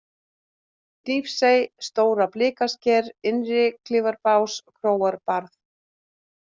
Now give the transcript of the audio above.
Hnífsey, Stóra-Blikasker, Innri-Klifabás, Króarbarð